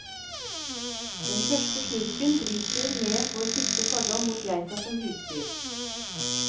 Den første slurken bryter ned vår siste fordom mot geita som husdyr.